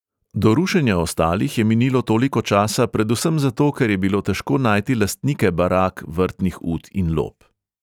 Do rušenja ostalih je minilo toliko časa predvsem zato, ker je bilo težko najti lastnike barak, vrtnih ut in lop.